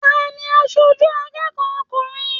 Taní aṣoju akẹ́kọ̀ọ́ ọkùnrin?